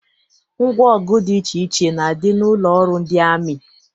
Ngwa ọgụ dị iche iche na-adị n'ụlọ ọrụ ndị amị.